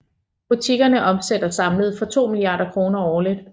Butikkerne omsætter samlet for 2 milliarder kroner årligt